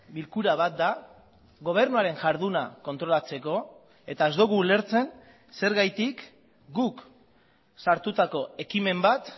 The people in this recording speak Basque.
bilkura bat da gobernuaren jarduna kontrolatzeko eta ez dugu ulertzen zergatik guk sartutako ekimen bat